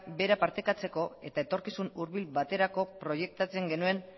bera partekatzeko eta etorkizun hurbil baterako proiektatzen genuen